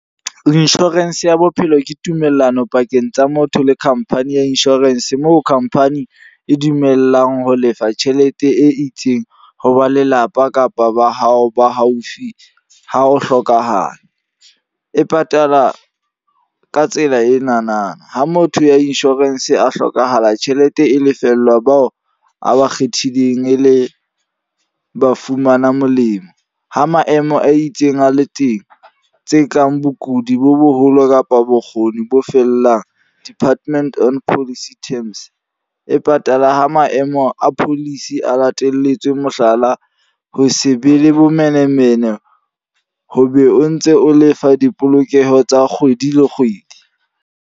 Insurance ya bophelo ke tumellano pakeng tsa motho le company ya insurance. Moo company e dumellang ho lefa tjhelete e itseng ho ba lelapa kapa ba hao ba haufi ha o hlokahala. E patala ka tsela e na na, ha motho ya insurance a hlokahala tjhelete e lefellwa bao a ba kgethileng e le ba fumana molemo. Ha maemo a itseng a le teng, tse kang bokudi bo boholo kapa bokgoni bo fellang. Department on policy terms, e patala ha maemo a policy a lateletswe. Mohlala, ho se be le bomenemene, ho be o ntse o lefa dipolokeho tsa kgwedi le kgwedi.